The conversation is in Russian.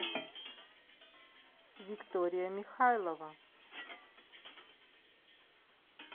виктория михайлова